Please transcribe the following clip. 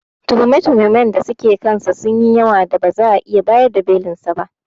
Tuhume-tuhumen da suke kansa sunyi yawan da ba za'a iya bayar da Belinsa ba.